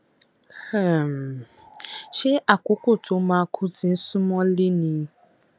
um ṣé àkókò tó máa kú ti ń sún mọlé ni